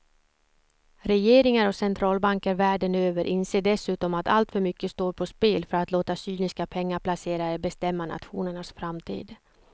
Regeringar och centralbanker världen över inser dessutom att alltför mycket står på spel för att låta cyniska pengaplacerare bestämma nationernas framtid.